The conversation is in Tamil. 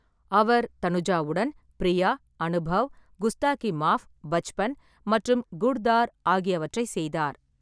அவர் தனுஜாவுடன் பிரியா, அனுபவ், குஸ்டாகி மாஃப், பச்பன் மற்றும் குட்-தார் ஆகியவற்றை செய்தார்.